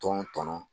Tɔn tɔnɔn